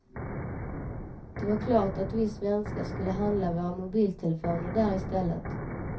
Det var klart att vi svenskar skulle handla våra mobiltelefoner där i stället.